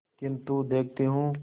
किन्तु देखती हूँ